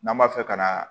N'an b'a fɛ ka